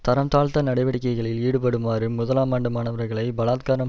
தரம் தாழ்ந்த நடவடிக்கைகளில் ஈடுபடுமாறு முதலாம் ஆண்டு மாணவர்களை பலாத்காரம்